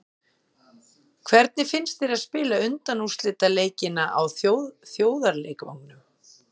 Hvernig finnst þér að spila undanúrslitaleikina á þjóðarleikvanginum?